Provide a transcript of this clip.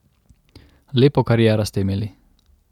Lepo kariero ste imeli.